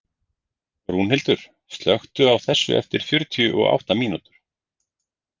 Rúnhildur, slökktu á þessu eftir fjörutíu og átta mínútur.